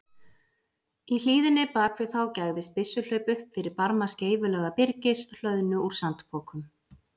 Í hlíðinni bak við þá gægðist byssuhlaup upp fyrir barma skeifulaga byrgis, hlöðnu úr sandpokum.